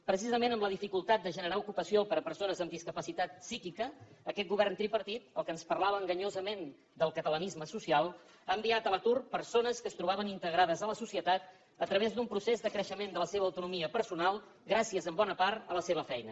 precisament amb la dificultat de generar ocupació per a persones amb discapacitat psíquica aquest govern tripartit el que ens parlava enganyosament del catalanisme social ha enviat a l’atur persones que es trobaven integrades a la societat a través d’un procés de creixement de la seva autonomia personal gràcies en bona part a la seva feina